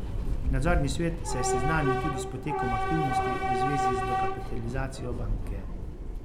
Nadzorni svet se je seznanil tudi s potekom aktivnosti v zvezi z dokapitalizacijo banke.